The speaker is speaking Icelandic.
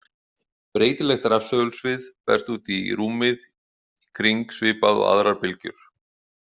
Breytilegt rafsegulsvið berst út í rúmið í kring svipað og aðrar bylgjur.